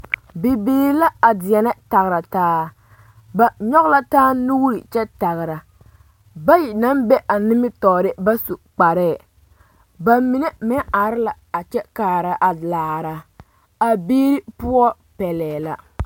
Bibiiri la a deɛnɛ tagere taa ba nyɔge la taa nuure kyɛ tagera bayi maŋ be a nimitɔɔre ba su kparɛɛ ba mine meŋ are la a kyɛ kaara a laara a biiri poɔ pɛlɛɛ la